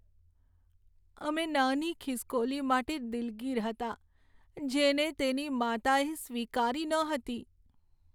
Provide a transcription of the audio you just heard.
અમે નાની ખિસકોલી માટે દિલગીર હતા, જેને તેની માતાએ સ્વીકારી ન હતી.